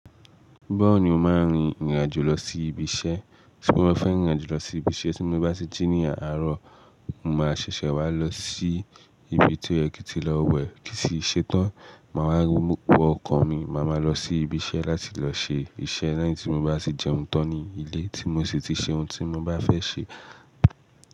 Báwo ni o máa rìn ìrìn àjò lọ sí ibi iṣẹ́? Ṣé mo fẹ́ rìn ìrìn àjò lọ sí ibi iṣẹ́? Tí mo bá sí jí ní àárọ̀, mo máa ṣẹ̀ṣẹ̀ wá lọ sí ibi tí ó yẹ kí n tí lọ wẹ̀, kí n sì ṣe tán. Màá wá rú wọ ọkọ̀ mi, màá ma lọ sí ibi iṣẹ́ láti lọ ṣe iṣẹ́ lẹ́yìn tí mo bá ti jẹun tán ní ilé tí mo sì ti ṣe ohun tí mo bá fẹ́ ṣe.